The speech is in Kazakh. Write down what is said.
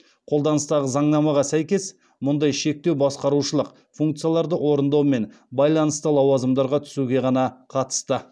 қолданыстағы заңнамаға сәйкес мұндай шектеу басқарушылық функцияларды орындаумен байланысты лауазымдарға түсуге ғана қатысты